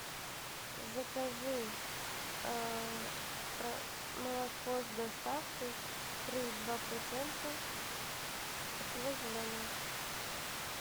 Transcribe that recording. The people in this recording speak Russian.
закажи молоко с доставкой три и два процента село зеленое